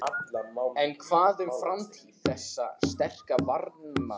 En hvað um framtíð þessa sterka varnarmanns?